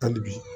Hali bi